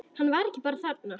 Hann var ekki bara þarna.